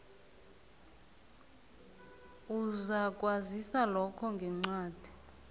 uzakwaziswa lokho ngencwadi